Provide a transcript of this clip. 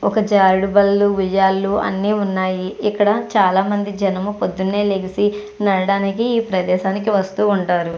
ఒక జారుడు బళ్ళు ఉయ్యాలు అన్ని ఉన్నాయి. ఇక్కడ చాలామంది జనం పొద్దున్నే లెగిసి నడవడానికి ఈ ప్రదేశానికి వస్తూ ఉంటారు.